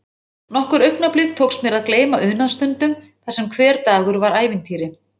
Nokkur augnablik tókst mér að gleyma unaðsstundum þar sem hver dagur var ævintýri.